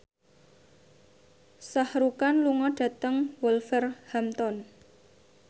Shah Rukh Khan lunga dhateng Wolverhampton